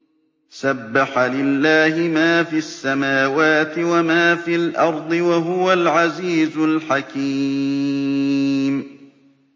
سَبَّحَ لِلَّهِ مَا فِي السَّمَاوَاتِ وَمَا فِي الْأَرْضِ ۖ وَهُوَ الْعَزِيزُ الْحَكِيمُ